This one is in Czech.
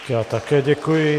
Já také děkuji.